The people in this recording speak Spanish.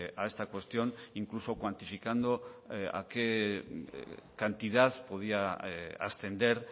a esta cuestión incluso cuantificando a qué cantidad podía ascender